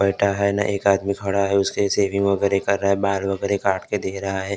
न एक आदमी खड़ा हैं उसके काटके दे रहा हैं ।